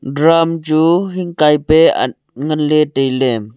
drum hekai pat a ngan ley tai ley.